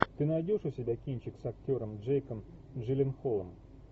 ты найдешь у себя кинчик с актером джейком джилленхолом